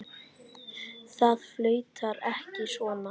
Það flautar ekki svona.